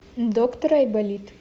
доктор айболит